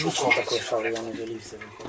Yaxşı, mən orada nəsə qoydum, girmədim.